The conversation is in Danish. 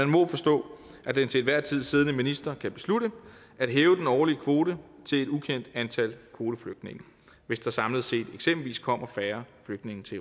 må forstå at den til enhver tid siddende minister kan beslutte at hæve den årlige kvote til et ukendt antal kvoteflygtninge hvis der samlet set eksempelvis kommer færre flygtninge til